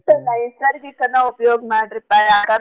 ನೈಸರ್ಗ್ರಿಕನ ಉಪಯೋಗ್ ಮಾಡ್ರಿ ಪಾ ಯಾಕಂ~.